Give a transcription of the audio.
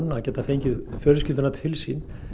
að geta fengið fjölskylduna til sín